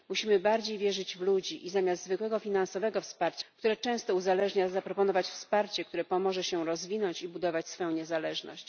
Musimy bardziej wierzyć w ludzi i zamiast zwykłego wsparcia finansowego, które często uzależnia, zaproponować wsparcie, które pomoże się rozwinąć i budować swoją niezależność.